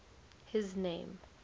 his name